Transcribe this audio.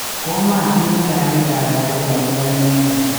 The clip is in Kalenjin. Komaatinye taariba agetugul akobo inendet